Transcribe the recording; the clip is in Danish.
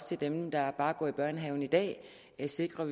til dem der bare går i børnehave i dag sikrer